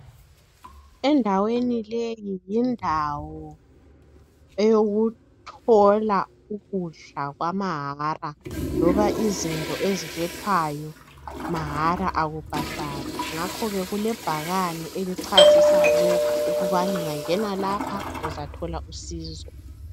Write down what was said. Endaweni leyi yindawo eyokuthola ukudla kwamahala loba izinto ezilethwayo mahala akubhadalwa, ngakhoke kulebhakani elichasisa lokhu ukubana ungangena lapha uzathola usizo.